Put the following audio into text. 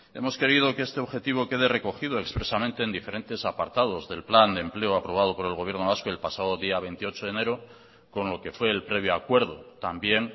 hemos querido que este objetivo quede recogido expresamente en diferentes apartados del plan de empleo aprobado por el gobierno vasco el pasado día veintiocho de enero con lo que fue el previo acuerdo también